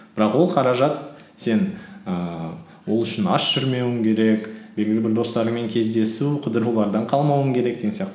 бірақ ол қаражат сен ііі ол үшін аш жүрмеуің керек белгілі бір достарыңмен кездесу қыдырулардан қалмауың керек деген сияқты